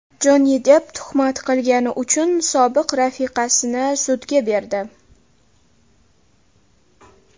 Jonni Depp tuhmat qilgani uchun sobiq rafiqasini sudga berdi.